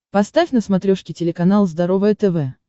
поставь на смотрешке телеканал здоровое тв